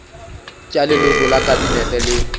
tša leloko la kabinete le